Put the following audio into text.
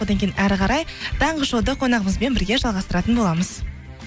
одан кейін әрі қарай таңғы шоуды қонағымызбен бірге жалғастыратын боламыз